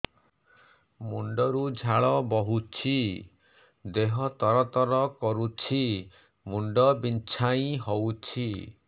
ମୁଣ୍ଡ ରୁ ଝାଳ ବହୁଛି ଦେହ ତର ତର କରୁଛି ମୁଣ୍ଡ ବିଞ୍ଛାଇ ହଉଛି